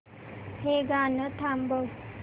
हे गाणं थांबव